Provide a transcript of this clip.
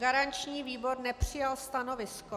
Garanční výbor nepřijal stanovisko.